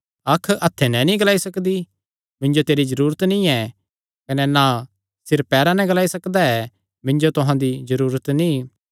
अख हत्थे नैं नीं ग्लाई सकदी मिन्जो तेरी जरूरत नीं ऐ कने ना सिर पैरां नैं ग्लाई सकदा ऐ मिन्जो तुहां दी जरूरत नीं